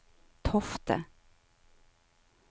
Tofte